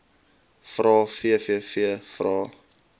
vrae vvv vrae